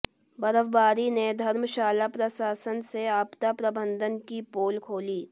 बर्फबारी ने धर्मशाला प्रशासन के आपदा प्रबंधन की पोल खोली